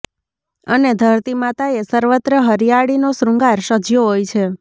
અને ધરતીમાતાએ સર્વત્ર હરિયાળીનો શ્રૃંગાર સજ્યો હોય છે